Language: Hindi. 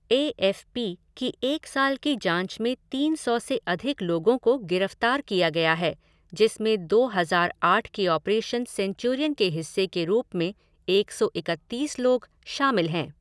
ए एफ़ पी की एक साल की जाँच में तीन सौ से अधिक लोगों को गिरफ़्तार किया गया है जिसमें दो हज़ार आठ के ऑपरेशन सेंचुरियन के हिस्से के रूप में एक सौ इकतीस लोग शामिल हैं।